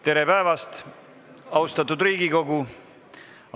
Tere päevast, austatud Riigikogu!